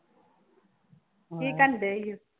ਕੀ ਕਰਦੇ ਸੀ?